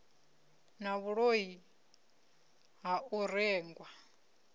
na vhuloi ha u rengwa